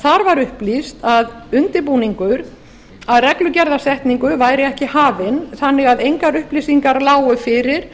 þar var upplýst að undirbúningur að reglugerðarsetningu væri ekki hafinn þannig að engar upplýsingar lágu fyrir